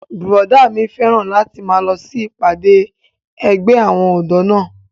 Bùrọ̀dá mi fẹ́ràn láti máa lọ sí ìpàdé ẹgbẹ́ àwọn ọ̀dọ́ náà